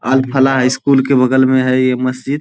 अल फला स्कूल के बगल में है ये मस्जिद।